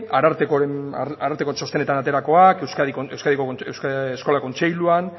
arartekoaren txostenean ateratakoak euskadiko eskola kontseiluan